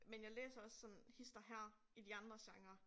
Men jeg læser også sådan hist og her i de andre genrer